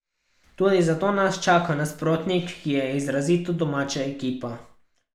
Tudi zato nas čaka nasprotnik, ki je izrazito domača ekipa.